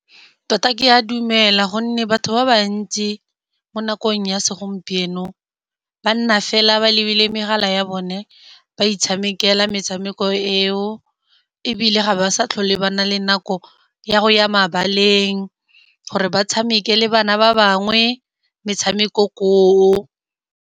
Tota ke a dumela gonne batho ba bantsi mo nakong ya segompieno, ba nna fela ba lebile megala ya bone, ba itshamekela metshameko eo. Ebile ga ba sa tlhole ba na le nako ya go ya mabaleng, gore ba tshameke le bana ba bangwe metshameko koo.